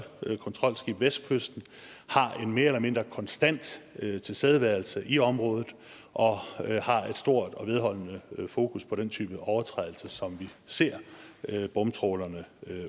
kontrolskib vestkysten har en mere eller mindre konstant tilstedeværelse i området og har et stort og vedholdende fokus på den type overtrædelser som vi ser bomtrawlerne